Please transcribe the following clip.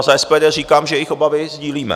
A za SPD říkám, že jejich obavy sdílíme.